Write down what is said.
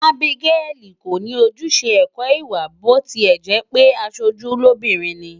Abigail kò ní ojúṣe ẹ̀kọ́-ìwà bí ó tilẹ̀ jẹ́ pé aṣojú lóbìnrin ni.